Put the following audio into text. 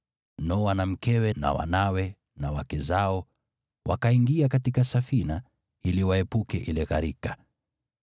Noa na mkewe na wanawe na wake zao wakaingia katika safina ili waepuke ile gharika.